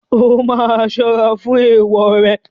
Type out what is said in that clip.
O máa ṣọ́rá fún èèwò rẹ.